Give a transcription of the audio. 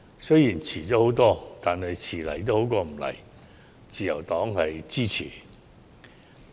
雖然遲了很多，但遲到總比不到好，自由黨表示支持。